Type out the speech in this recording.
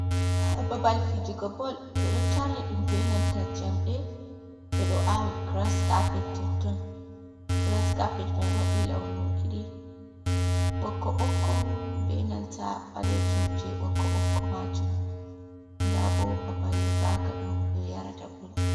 Babal fijugo bol ɓeɗo tarni dum benanta jamɗe bedo awi gras caped totton. Gras caped mai wadi launu didi ɓokko ɓokko benanta balejum je ɓokko ɓokko majum dabo babal raga ɗum ɓe yarata bol.